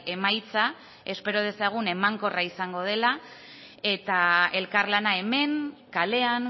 emaitza espero dezagun emankorra izango dela eta elkarlana hemen kalean